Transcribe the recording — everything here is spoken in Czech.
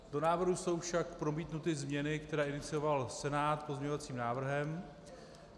Do návrhu jsou však promítnuty změny, které inicioval Senát pozměňovacím návrhem.